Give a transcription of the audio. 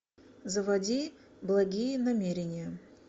заводи благие намерения